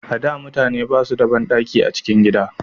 A da mutane ba su da banɗaki a cikin gida